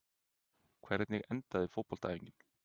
hvernig endaði fótboltaæfingin